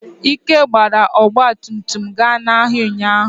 Ike gbara ọgba tum tum ga n'ahịa ụnyahụ.